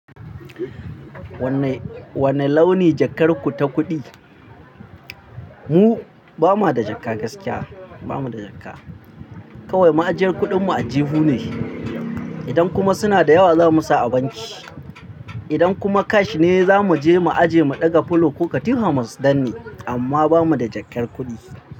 Wane launi jakar ku ta kuɗi? Mu ba ma da jaka gaskiya, ba mu da jaka. Kawai ma ajiyar kuɗin mu aljihu ne. Idan kuma suna da yawa za mu sa a banki. Idan kuma cash ne za mu je mu ajiye mu ɗaga fulo ko katifa mu danne. Amma ba mu da jakar kuɗi.